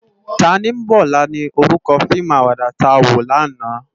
Tánimòlá ni órúkò fiimú àwàdá tá wó làná